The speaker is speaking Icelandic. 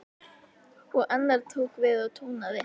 Og annar tók við og tónaði: